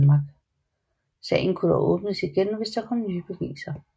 Sagen kunne dog åbnes igen senere hvis der kom nye beviser